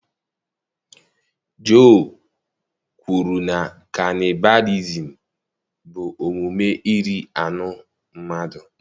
Joe kwuru na kanịbalịzim bụ omume iri anụ mmadụ.